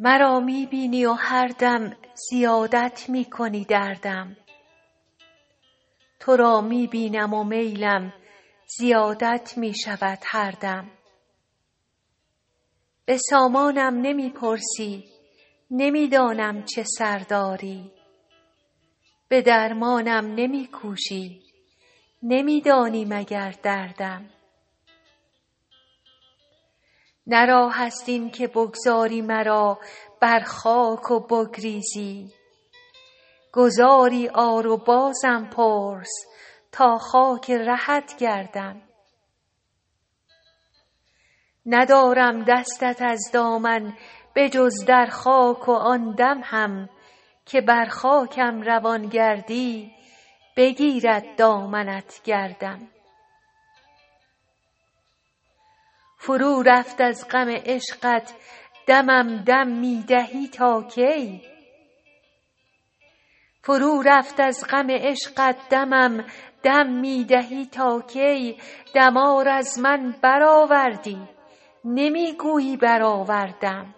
مرا می بینی و هر دم زیادت می کنی دردم تو را می بینم و میلم زیادت می شود هر دم به سامانم نمی پرسی نمی دانم چه سر داری به درمانم نمی کوشی نمی دانی مگر دردم نه راه است این که بگذاری مرا بر خاک و بگریزی گذاری آر و بازم پرس تا خاک رهت گردم ندارم دستت از دامن به جز در خاک و آن دم هم که بر خاکم روان گردی بگیرد دامنت گردم فرو رفت از غم عشقت دمم دم می دهی تا کی دمار از من برآوردی نمی گویی برآوردم